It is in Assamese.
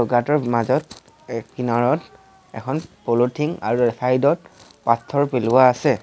গাঁতৰ মাজত এ কিনাৰত এখন পলথিং আৰু চাইড ত পাথৰ পেলোৱা আছে।